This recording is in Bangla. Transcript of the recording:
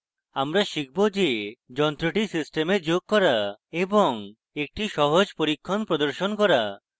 আমরা শিখব যে